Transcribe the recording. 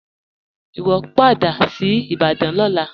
Iwọ n padà sí Ìbàdàn lọ́lá.